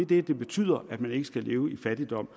det betyder at man ikke skal leve i fattigdom